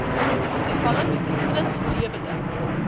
toevallings plus lewende